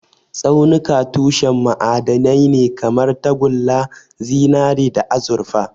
Tsaunuka tushen ma'adanai ne kamar tagulla, zinare, da azurfa.